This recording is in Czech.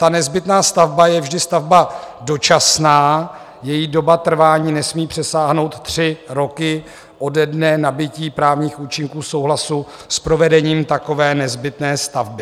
Ta nezbytná stavba je vždy stavba dočasná, její doba trvání nesmí přesáhnout tři roky ode dne nabytí právních účinků souhlasu s provedením takové nezbytné stavby.